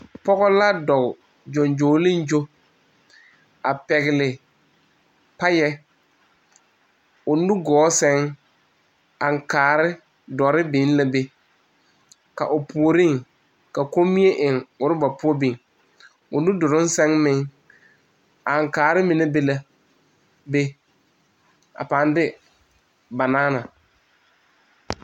pɔge la dɔɔ gyoŋgyoliŋgyo a kyɛ pɛgle paya a eŋ o nugɔɔ pʋɔ kyɛ ka aŋkaare dɔre meŋ biŋ.A pɔge pʋoreŋ, komie be la roba pʋɔ kyɛ kaa aŋkaare mine meŋ be o meŋ be o nudɔroŋ seŋ ane banaana